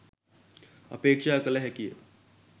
අපේක්‍ෂා කළ හැකිය